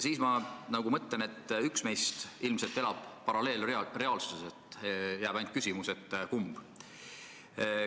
Siis ma mõtlen, et üks meist elab ilmselt paralleelreaalsuses, jääb ainult küsimus, et kumb.